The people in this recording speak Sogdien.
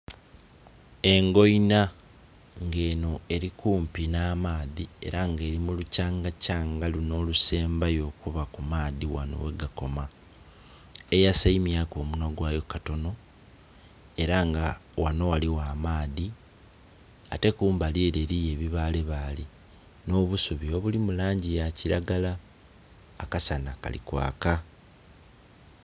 Engoina, nga eno eri kumpi n'amaadhi era nga eri mulukyangakyanga luno olusembayo okuba kumaadhi ghano ghegakoma, eyasaimyaaku omunwa gwayo katono era nga ghano ghaliwo amaadhi ate kumbali ere eliyo ebibalebale n'obusubi obuli mulangi yakilagara, akasana kali kwaka